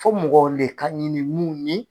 Fɔ mɔgɔ de ka ɲini mun ye